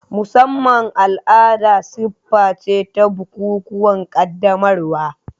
Musamman al'ada siffa ce ta bukukuwan qaddamarwa.